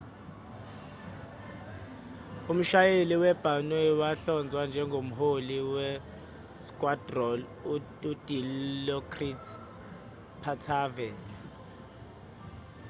umshayeli wabhanoyi wahlonzwa njengomholi we-squadron u-dilokrit pattavee